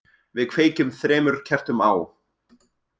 Við kveikjum þremur kertum á,